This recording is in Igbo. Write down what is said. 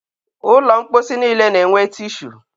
ụlọ mkposi niile na-enwe tishu.